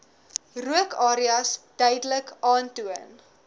rookareas duidelik aantoon